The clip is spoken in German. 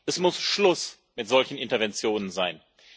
Es muss Schluss mit solchen Interventionen sein!